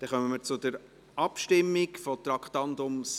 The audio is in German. Damit kommen wir zur Abstimmung zum Traktandum 76.